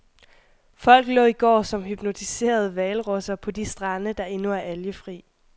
Folk lå i går som hypnotiserede hvalrosser på de strande, der endnu er algefrie.